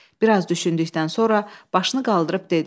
Bir az düşündükdən sonra başını qaldırıb dedi.